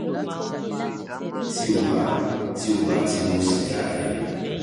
ti o ba ti o ba ti mu siga rẹ